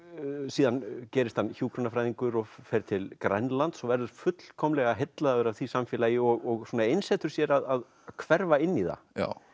síðan gerist hann hjúkrunarfræðingur og fer til Grænlands og verður fullkomlega heillaður af því samfélagi og svona einsetur sér að hverfa inn í það